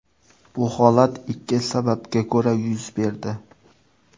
Bu holat ikki sababga ko‘ra yuz berdi.